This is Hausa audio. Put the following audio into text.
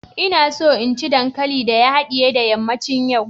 ina so in ci dankalin da ya hadiye da yammacin yau